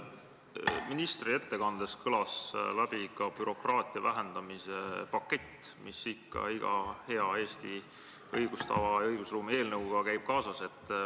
Ministri ettekandest kõlas läbi ka bürokraatia vähendamise paketi idee, mis iga hea Eesti õigustava ja õigusruumi eelnõuga kaasas käib.